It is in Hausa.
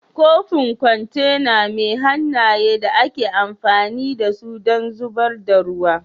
kofin kwantena mai hannaye da ake amfani da su don zubar da ruwa